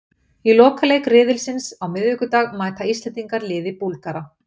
Í lokaleik riðilsins á miðvikudag mæta Íslendingar liði Búlgara.